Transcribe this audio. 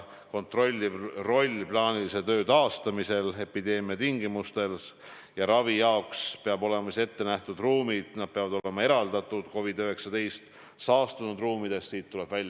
Minu küsimus oli ju eelkõige see, kas haiglad ja ka patsiendid, kes ravi ootavad, saavad kindlad olla, et nii, nagu lubatud on, täiendavate kulude katmise taha ravi osutamine ei jää.